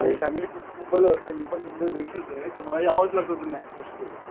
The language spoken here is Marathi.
फॅमिली पूर्ण मुंबईला असतें मी पण मुंबई आहे तर मला घ्यावंच लागत ऐडजेस्ट करून.